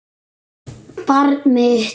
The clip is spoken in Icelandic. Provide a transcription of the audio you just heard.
Barn mitt.